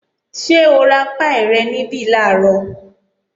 Ṣé o ra páì rẹ̀ níbí làárọ̀?